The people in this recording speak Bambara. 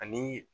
Ani